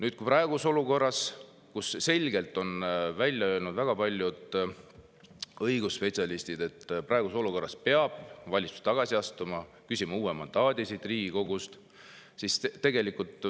Väga paljud õigusspetsialistid on selgelt välja öelnud, et praeguses olukorras peab valitsus tagasi astuma, küsima uue mandaadi siit Riigikogust.